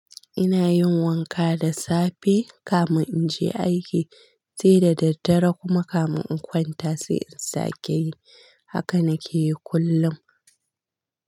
Ina yin wanka da safe kafin in je aiki sai da daddare kuma kafin in kwanta sai in sake yi. Haka na ke yi kullum.